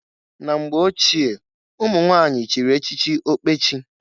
Na mgbe ochie, umunwanyị chiri echichi ọkpechi.